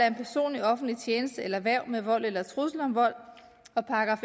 en person i offentlig tjeneste eller hverv med vold eller trusler om vold og §